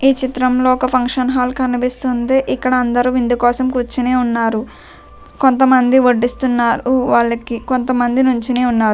ఈ చిత్రంలో ఒక్క ఫంక్షన్ హాల్ కనిపిస్తుంది ఇక్కడ అందరూ విందుకోసం కుర్చొని ఉన్నారు కొంతమంది వడ్డిస్తున్నారు వాళ్ళకి కొంతమంది నిల్చొని ఉన్నారు .